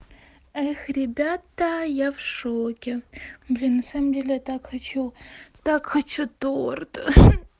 эх ребята я в шоке блин на самом деле я так хочу так хочу торт